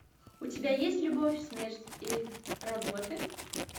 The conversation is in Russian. у тебя есть любовь смерть и роботы